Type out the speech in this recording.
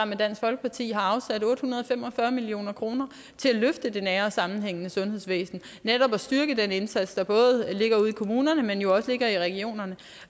med dansk folkeparti har afsat otte hundrede og fem og fyrre million kroner til at løfte det nære og sammenhængende sundhedsvæsen og netop styrke den indsats der både ligger ude i kommunerne men jo også i regionerne